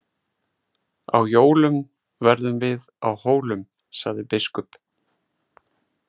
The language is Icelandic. Á jólum verðum við á Hólum, sagði biskup.